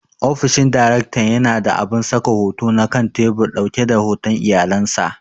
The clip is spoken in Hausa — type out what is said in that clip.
Ofishin daraktan yana da abun saka hoto na kan tebur ɗauke da hoton iyalan sa.